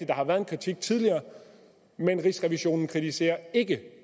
der har været en kritik tidligere men rigsrevisionen kritiserer ikke